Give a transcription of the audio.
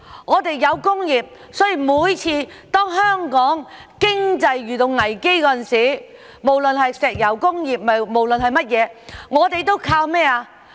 我們有工業，所以每次當香港的經濟遇到危機時，無論是石油危機等，我們都靠甚麼？